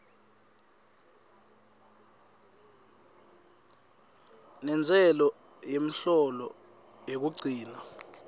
nentsela yemholo yekugcina